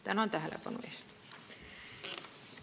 Tänan tähelepanu eest!